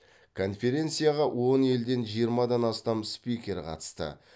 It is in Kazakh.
конференцияға он елден жиырмадан астам спикер қатысты